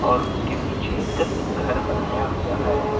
और उसके पीछे घर बनाया हुआ है।